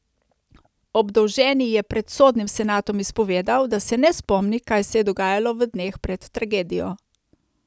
Obdolženi je pred sodnim senatom izpovedal, da se ne spomni, kaj se je dogajalo v dneh pred tragedijo.